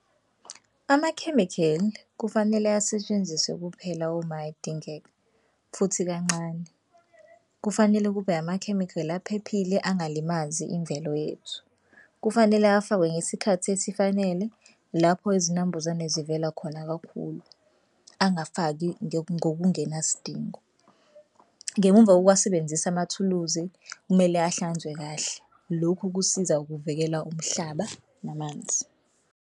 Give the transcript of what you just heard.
Amakhemikheli kufanele asetshenziswe kuphela uma edingeka futhi kancane. Kufanele kube amakhemikhali aphephile angalimazi imvelo yethu. Kufanele afakwe ngesikhathi esifanele, lapho izinambuzane zivela khona kakhulu angafaki ngokungenasidingo. Ngemumva kokuwasebenzisa amathuluzi kumele ahlanzwe kahle, lokhu kusiza ukuvikela umhlaba namanzi.